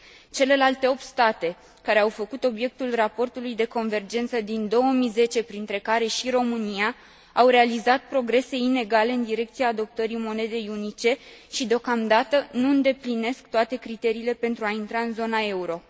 Celelalte opt state care au făcut obiectul raportului de convergență din 2010, printre care și România, au realizat progrese inegale în direcția adoptării monedei unice și deocamdată nu îndeplinesc toate criteriile pentru a intra în zona euro.